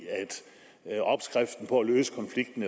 at opskriften på at løse konflikten